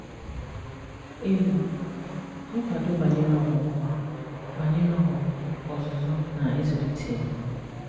Ịmụ: Nkwado banyere ọmụmụ, banyere ọmụmụ, ọzụzụ na ịzụlite.